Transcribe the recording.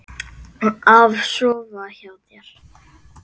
Af sofa hjá þér?